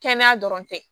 Kɛnɛya dɔrɔn tɛ